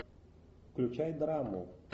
включай драму